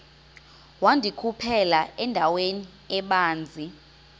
wandikhuphela endaweni ebanzi